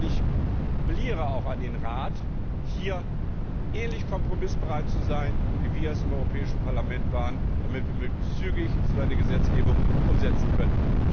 Ich appelliere auch an den Rat, hier ähnlich kompromissbereit zu sein, wie wir es im Europäischen Parlament waren, damit wir möglichst zügig so eine Gesetzgebung umsetzen können!